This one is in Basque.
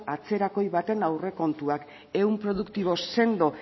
atzerakoi baten aurrekontuak ehun produktibo sendo